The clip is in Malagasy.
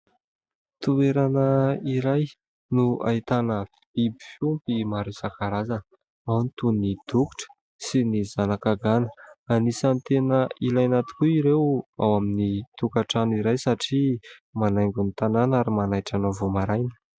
Toerana iray no ahitana biby fiompy maro isan-karazana. Ao ny toy ny dokotra sy ny zanaka gana. Anisany tena ilaina tokoa ireo ao amin'ny tokatrano iray satria manaingo ny tanàna ary manaitra anao vao maraina.